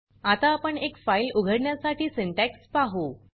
आता आपण एक फाइल उघडण्यासाठी सिंटॅक्स पाहू